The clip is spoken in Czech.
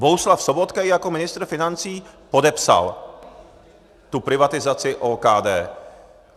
Bohuslav Sobotka ji jako ministr financí podepsal, tu privatizaci OKD.